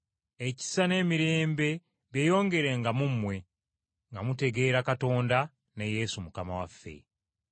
ekisa n’emirembe byeyongerenga mu mmwe nga mutegeera Katonda ne Yesu Mukama waffe.